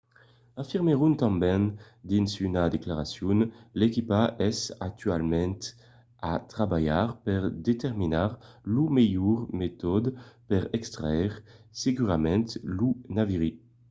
afirmèron tanben dins una declaracion l’equipa es actualament a trabalhar per determinar lo melhor metòde per extraire segurament lo naviri